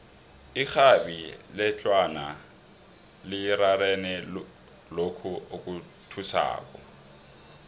irhabi letlawana lirarene lokhu okuthusako